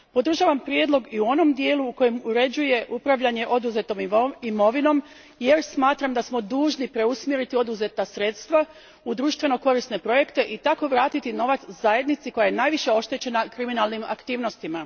Podržavam prijedlog i u onom dijelu u kojem uređuje upravljanje oduzetom imovinom, jer smatram da smo dužni preusmjeriti oduzeta sredstva u društveno korisne projekte i tako vratiti novac zajednici koja je najviše oštećena kriminalnim aktivnostima.